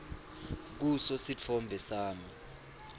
kuso sitfombe sami